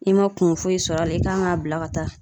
I ma kun foyi sɔrɔ a la i kan k'a bila ka taa